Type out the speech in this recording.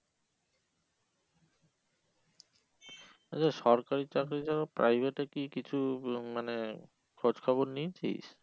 আচ্ছা সরকারি চাকরির ও private এ কিছু কি মানে খোঁজ খবর নিয়েছিস?